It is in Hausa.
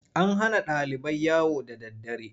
An hana ɗalibai yawo da daddare.